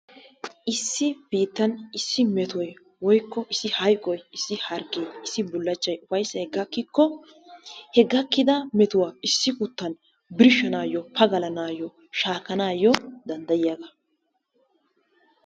Issi biittan issi metoy, woykko issi hayqoy, issi bullachchay ufayssay gakkikko he gakkida metuwa issi guttan birshshanaayyo, pagalanaayyo shaakkanaayyo danddayiyagaa.